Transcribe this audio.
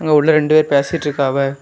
உள்ள ரெண்டு பேரும் பேசிட்டு இருக்காவ.